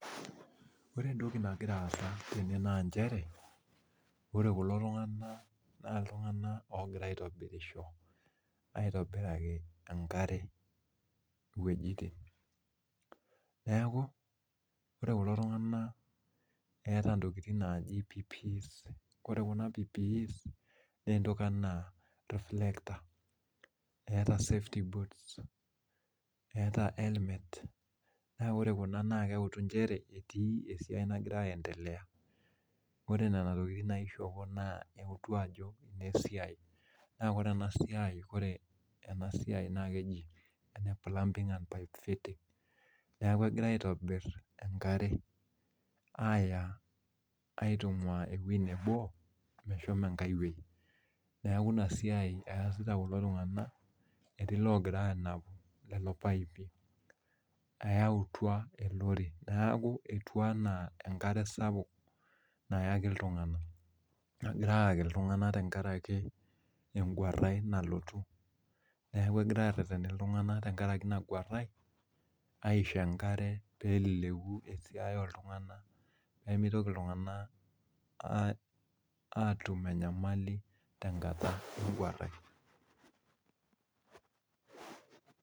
Ore entoki nagira aasa tene naa nchere, ore kulo tung'anak naa iltung'anak oogira aitobirisho aitobiraki enkare iwuejitin. Neeku ore kulo tung'anak eeta ntokiting naaji PPEs. Ore kuna PPEs naa entoki enaa reflector. Eeta safety boots, eeta helmet naa ore kuna na keutu nchere etii esiai nagira aendelea. Kore nena tokiting naishopo naa eutu ajo ine siai. Naa kore ena siai, kore ena siai naa keji ene plumbing and pipe fitting. Neeku egirai aaitobirr enkare aaya aitung'waa ewuei nebo meshomo enkae wuei. Neeku ina siai eesita kulo tung'anak etii iloogira aanapu lelo paipi eyautwa elori. Neeku enaa enkare sapuk nayaki iltung'anak, nagirai ayaki iltung'anak tenkaraki engwarrai nalotu. Neeku egirai aarreten iltung'anak tenkaraki ina gwarrai aisho enkare peeleleku esiai ooltung'anak peemitoki iltung'anak aatum enyamali tenkata engwarrai